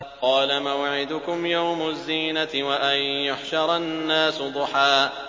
قَالَ مَوْعِدُكُمْ يَوْمُ الزِّينَةِ وَأَن يُحْشَرَ النَّاسُ ضُحًى